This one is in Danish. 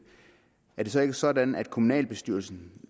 er det så ikke sådan at kommunalbestyrelsen